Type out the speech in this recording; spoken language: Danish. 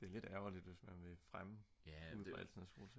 det er lidt ærgerligt hvis man vil fremme udviklingen af solceller